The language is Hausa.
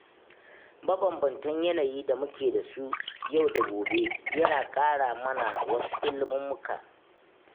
Mabanbantan yanayin da mu ke samu yau da gobe yana ƙara mana wasu ilmummuka